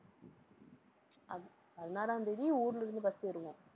பதினாறாம் தேதி ஊர்ல இருந்து bus ஏறுவோம்.